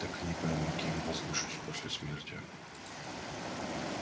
так и не пойму кем возвышусь после смерти